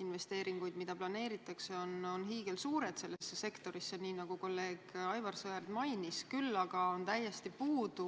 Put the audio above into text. Investeeringud, mida planeeritakse, on selles sektoris hiigelsuured, nii nagu kolleeg Aivar Sõerd mainis, küll aga on täiesti puudu